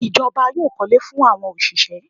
The government will build houses for the workers